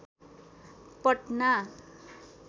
Patna